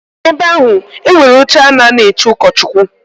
Na ebe ahụ e nwere oche a na a nọ eche ụkọchụkwụ.